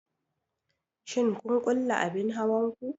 Shin kun kulle abin hawan ku?